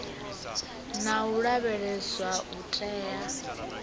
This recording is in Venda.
na u lavheleswa u tea